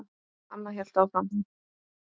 Anna hélt áfram.